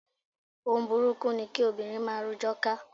Ohun burúkú ni kí obìnrin máa rojọ́ ká.